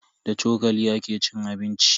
Da cokali ake cin abinci.